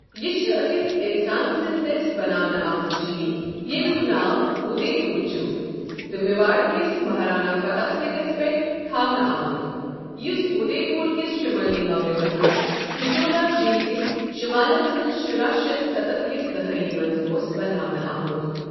یہِ چھُ أکس اِنسان سٕندۍ دٔسۍ بَناونہٕ آمُت جیٖل ییٚمیُک ناو اُدے پوٗر چُھ تہٕ میواڑ کِس مہارانا فتح سنگَس پیٹھ تھاونہٕ آمُت، یُس اُدَے پوٗرِ کِس شُمٲلۍ مغرِبَس منٛز پچولا جیٖل کِس شُمالَس منٛز شُراہ شیتھ شیت کِس دہائی منٛز اوس بناونہٕ آمُت۔